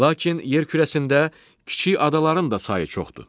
Lakin yer kürəsində kiçik adaların da sayı çoxdur.